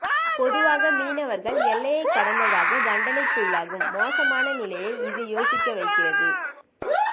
பொதுவாக மீனவர்கள் எல்லையைக் கடந்ததாக தண்டனைக்குள்ளாகும் மோசமான நிலையை இது யோசிக்க வைக்கிறது